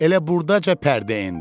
Elə burdaca pərdə endi.